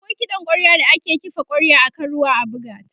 akwai kiɗan kwarya da ake kifa kwarya akan ruwa a buga t